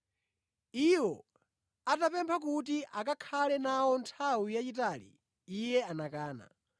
Iwo atapempha kuti akakhale nawo nthawi yayitali, iye anakana.